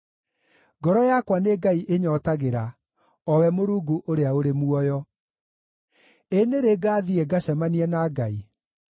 Ngoro yakwa nĩ Ngai ĩnyootagĩra, O we Mũrungu ũrĩa ũrĩ muoyo. Ĩ nĩ rĩ ngaathiĩ ngacemanie na Ngai?